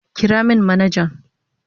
Kira min manajan.